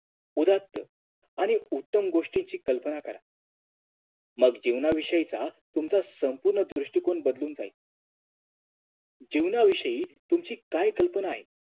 उदांत उत्तम गोष्टींची कल्पना करा मग जीवनाविषयीचा तुमचा संपुर्ण दृष्टिकोन बदलून जाईल जीवनाविषयी तुमची काय कल्पना आहे